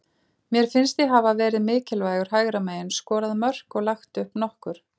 Mér finnst ég hafa verið mikilvægur hægra megin, skorað mörk og lagt upp nokkur.